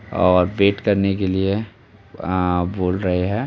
और बेट करने के लिए अ बोल रहे हैं।